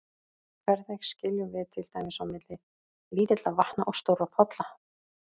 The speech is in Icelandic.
Hvernig skiljum við til dæmis á milli lítilla vatna og stórra polla?